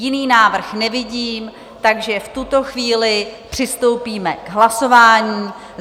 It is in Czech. Jiný návrh nevidím, takže v tuto chvíli přistoupíme k hlasování.